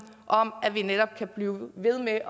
om at vi netop kan blive ved med